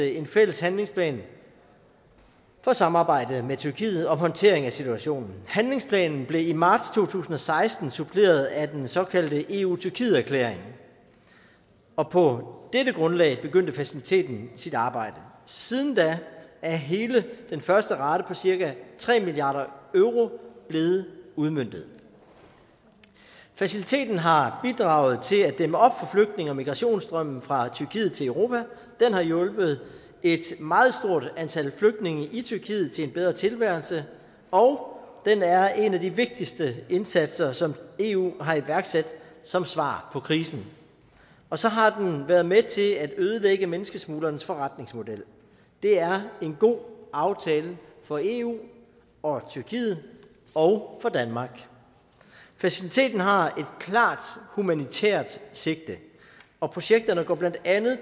en fælles handlingsplan for samarbejdet med tyrkiet om håndteringen af situationen handlingsplanen blev i marts to tusind og seksten suppleret af den såkaldte eu tyrkiet erklæring og på dette grundlag begyndte faciliteten sit arbejde siden da er hele den første rate på cirka tre milliard euro blevet udmøntet faciliteten har bidraget til at dæmme op for flygtninge og migrationsstrømmen fra tyrkiet til europa den har hjulpet et meget stort antal flygtninge i tyrkiet til en bedre tilværelse og den er en af de vigtigste indsatser som eu har iværksat som svar på krisen og så har den været med til at ødelægge menneskesmuglernes forretningsmodel det er en god aftale for eu og tyrkiet og for danmark faciliteten har et klart humanitært sigte projekterne går blandt andet